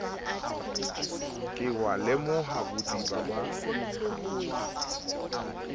ke wa lemoha bodiba ba